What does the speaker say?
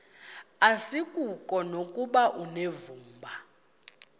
asikuko nokuba unevumba